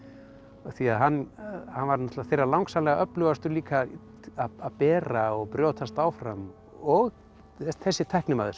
af því að hann hann var þeirra langsamlega öflugastur líka að bera og brjótast áfram og þessi tæknimaður sem